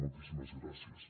moltíssimes gràcies